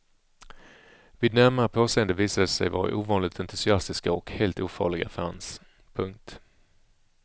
Vid närmare påseende visade de sig vara ovanligt entusiastiska och helt ofarliga fans. punkt